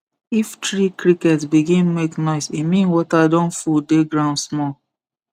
if tree cricket begin make noise e mean water don full dey ground small